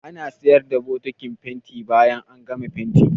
Ana iya siyar da bokitin fenti bayan an gama fentin.